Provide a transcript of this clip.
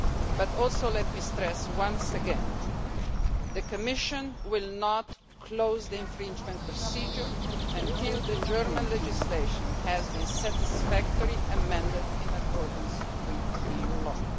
But also let me stress once again that the Commission will not close the infringement procedure until German legislation has been satisfactorily amended in accordance with EU law.